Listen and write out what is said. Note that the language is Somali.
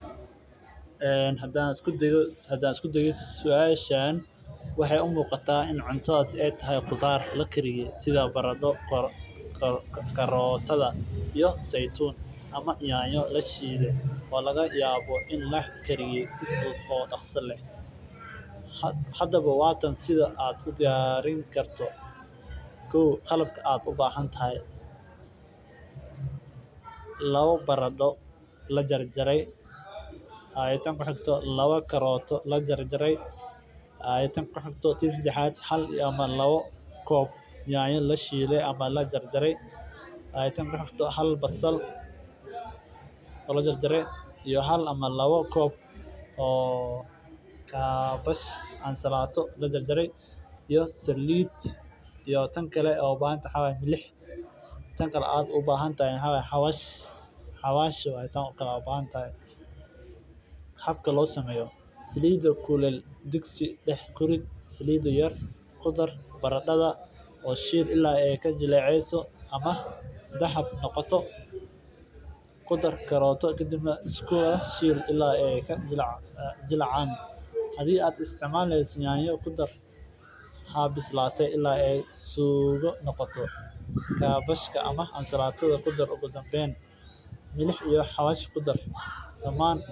Hadaan isku dayo suashan taas aay tahay qudaar lakariyo iyo basal iyo nyanya sida aad kuridan leheed mararka qaar waxaa loo qabtaa bulshada dexdeeda sababta oo ah waxeey hal ama labo koob nyanya la jarjara ama laba koob oo ansalaata iyo saliid xawaash habka loo sameeyo baradada shiil ilaa aay suugada waxeey ledahay faaidoyin badan waa meesha kaliya oo caalami oo dadka lagu ogaado xaqiiqda waxaa milix.